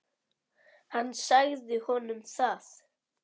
Hann sagði honum það.